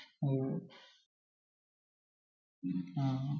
ആഹ്